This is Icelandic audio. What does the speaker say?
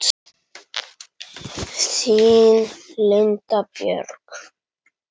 Þín Linda Björk.